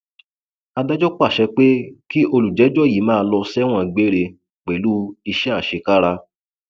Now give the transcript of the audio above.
adájọ pàṣẹ pé kí olùjẹjọ yìí máa lọ sẹwọn gbére pẹlú iṣẹ àṣekára